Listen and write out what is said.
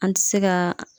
An ti se ka